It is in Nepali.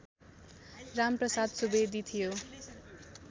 रामप्रसाद सुवेदी थियो